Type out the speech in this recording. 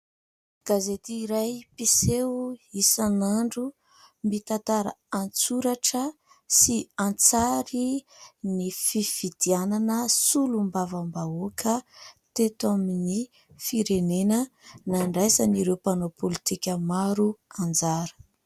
Gazety iray mpiseho isan'andro mitantara an-tsoratra sy an-tsary ny fifidianana solombavambahoaka teto amin'ny firenena ; nandraisan' ireo mpanao politika maro anjara.